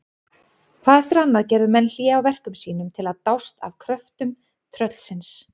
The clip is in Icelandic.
Hvað eftir annað gerðu menn hlé á verkum sínum til að dást að kröftum tröllsins.